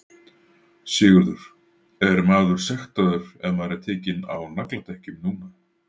Sigurður: Er maður sektaður ef maður er tekinn á nagladekkjum núna?